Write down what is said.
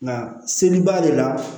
Nka seli b'ale la